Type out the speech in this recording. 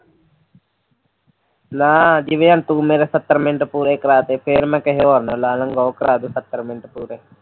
ਨਾ ਜਿਵੇਂ ਤੂੰ ਮੇੇਰੇ ਸੱਤਰ ਮਿੰਟ ਪੂਰੇ ਕਰਾ ਤਾਂ ਤਾਂ ਮੈਂ ਹੋਰ ਕਿਸੇ ਨੂੰ ਲਾ ਲੂੰਗਾ ਉਹ ਕਰਾ ਦੂੰਗਾ ਮੇਰੇ ਸੱਤਰ ਮਿੰਟ ਪੂਰੇ